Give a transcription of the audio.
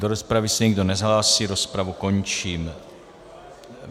Do rozpravy se nikdo nehlásí, rozpravu končím.